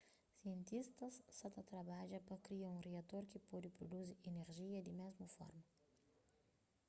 sientistas sa ta trabadja pa kria un riator ki pode pruduzi inerjia di mésmu forma